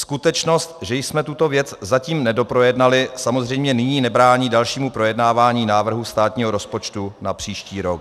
Skutečnost, že jsme tuto věc zatím nedoprojednali, samozřejmě nyní nebrání dalšímu projednávání návrhu státního rozpočtu na příští rok.